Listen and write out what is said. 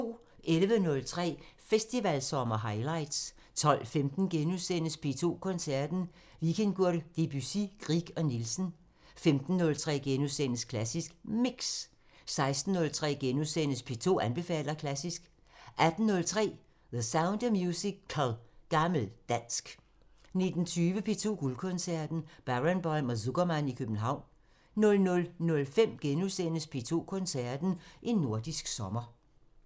11:03: Festivalsommer highlights 12:15: P2 Koncerten – Vikingur, Debussy, Grieg og Nielsen * 15:03: Klassisk Mix * 16:03: P2 anbefaler klassisk * 18:03: The Sound of Musical: Gammel Dansk 19:20: P2 Guldkoncerten – Barenboim og Zukerman i København 00:05: P2 Koncerten – En nordisk sommer *